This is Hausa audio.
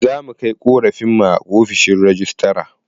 Za mu kai ƙorafin mu ofishin rejistra.